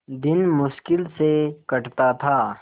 दिन मुश्किल से कटता था